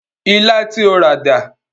Ilá tí o rà dà?